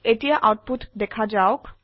এতিয়া আউটপুট দেখা যাওক